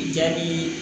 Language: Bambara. Jaabi